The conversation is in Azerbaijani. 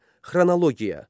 Xronologiya.